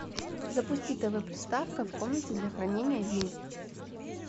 запусти тв приставка в комнате для хранения вин